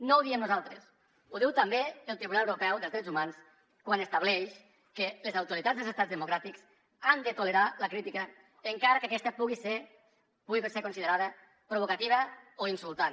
no ho diem nosaltres ho diu també el tribunal europeu dels drets humans quan estableix que les autoritats dels estats democràtics han de tolerar la crítica encara que aquesta pugui ser considerada provocativa o insultant